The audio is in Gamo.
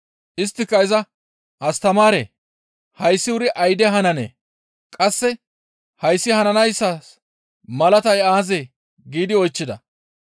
Isttika iza, «Astamaaree! Hayssi wuri ayde hananee? Qasse hayssi hananayssas malatay aazee?» giidi oychchida.